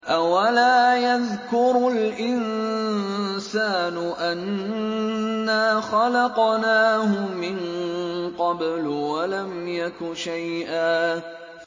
أَوَلَا يَذْكُرُ الْإِنسَانُ أَنَّا خَلَقْنَاهُ مِن قَبْلُ وَلَمْ يَكُ شَيْئًا